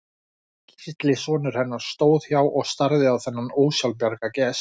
Gísli sonur hennar stóð hjá og starði á þennan ósjálfbjarga gest.